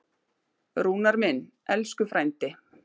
Rúnar minn, elsku frændi.